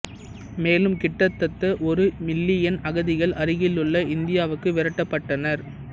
மேலும் கிட்டத்தட்ட ஒரு மில்லியன் அகதிகள் அருகிலுள்ள இந்தியாவுக்கு விரட்டப்பட்டனர்